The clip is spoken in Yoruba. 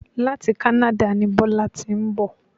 Láti Canada ni Bọ́lá ti ń bọ̀